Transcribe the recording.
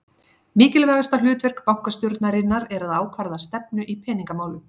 Mikilvægasta hlutverk bankastjórnarinnar er að ákvarða stefnu í peningamálum.